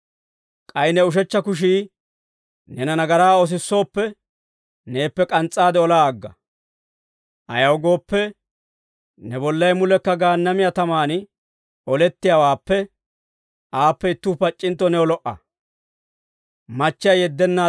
K'ay ne ushechcha kushii neena nagaraa oosisooppe, neeppe k'ans's'aade olaa agga; ayaw gooppe, ne bollay mulekka Gaannamiyaa tamaan olettiyaawaappe, aappe ittuu pac'c'intto new lo"a.